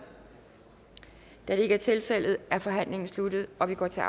da det ikke er tilfældet er forhandlingen sluttet og vi går til